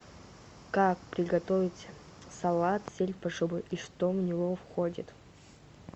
как приготовить салат сельдь под шубой и что в него входит